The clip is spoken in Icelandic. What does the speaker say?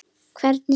Hvernig staf